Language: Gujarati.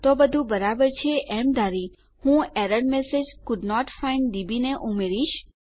તો બધું બરાબર છે એમ ધારી હું error message couldn't find DB ને અહીં ઉમેરીશ